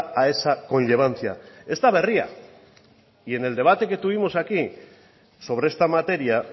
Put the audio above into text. a esa conllevancia ez da berria y en el debate que tuvimos aquí sobre esta materia